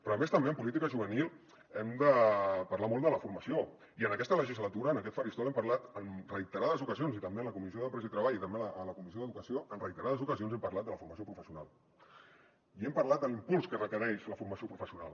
però a més també en política juvenil hem de parlar molt de la formació i en aquesta legislatura en aquest faristol hem parlat en reiterades ocasions i també en la comissió d’empresa i treball i també en la comissió d’educació en reiterades ocasions hem parlat de la formació professional i hem parlat de l’impuls que requereix la formació professional